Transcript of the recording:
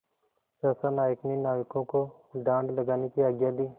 सहसा नायक ने नाविकों को डाँड लगाने की आज्ञा दी